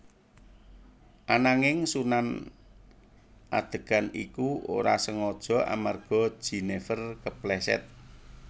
Ananging Sunan adegan iku ora sengaja amarga Jenifer kepleset